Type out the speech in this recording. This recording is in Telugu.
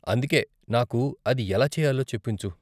అందుకే, నాకు అది ఎలా చెయ్యాలో చెప్పించు.